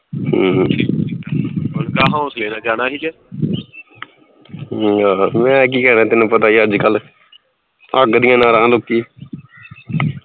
ਅਮ ਹਮ ਆਹਾ ਮੈਂ ਕੀ ਕਹਿਣਾ ਤੈਨੂੰ ਪਤਾ ਈ ਅੱਜਕਲ ਅੱਗ ਦੀਆਂ ਨਾਰਾ ਨੂੰ ਕੀ